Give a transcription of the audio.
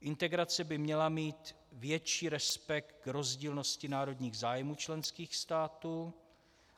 Integrace by měla mít větší respekt k rozdílnosti národních zájmů členských států.